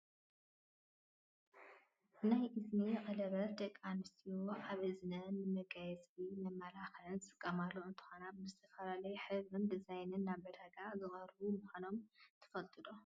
ናይ እዝኒ ቀለቤት ደቂ ኣንስትዮ ኣብ እዝነን ንመጋየፂን መመላክዕን ዝጥቀማሉ እንትከውን ብዝተፈላለዩ ሕብሪን ዲዛይንን ናብ ዕዳጋ ዝቀርብ ምኳኑ ትፈልጡ'ዶ ?